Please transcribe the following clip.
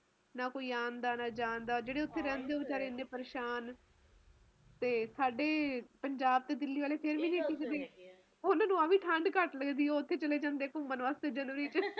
ਆਪਣੇ ਖੁਦ ਦੇ ਦੇਸ਼ ਚ ਏਨੇ ਤਰਾਂ ਦੇ ਮੌਸਮ ਹੈ ਆਪਾ ਗਿਣਤੀ ਨਹੀਂ ਕਰ ਸਕਦੇ ਤੁਸੀਂ ਹੁਣ ਆਪਾ ਇਥੇ ਬੈਠੇ ਆ ਤੁਸੀਂ ਰੋਹਤਾਂਨ ਚਲੇ ਜਾਓ ਮਨਾਲੀ ਚਲੇ ਜਾਓ ਬਰਫ ਨਾਲ ਰਸਤੇ ਢਕੇ ਹੋਏ ਆ